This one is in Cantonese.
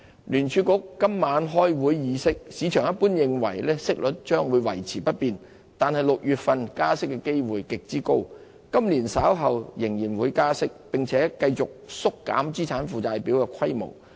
聯儲局今晚開會議息，市場一般認為息率將維持不變，但6月加息的機會極高，今年稍後仍會加息，並繼續縮減資產負債表的規模。